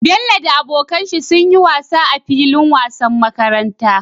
Bello da abokan shi sunyi wasa a filin wasan makaranta